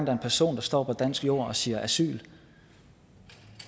er en person der står på dansk jord og siger asyl